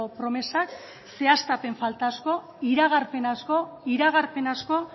promesak zehaztapen falta asko iragarpen asko iragarpen asko